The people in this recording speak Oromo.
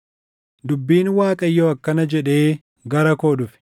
Dubbiin Waaqayyoo akkana jedhee gara koo dhufe: